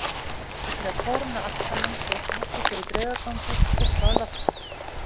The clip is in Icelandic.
Og til að kóróna allt saman stóð Fúsi fyrir draugagangi uppi á lofti.